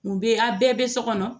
N bɛ aw bɛɛ bɛ so kɔnɔ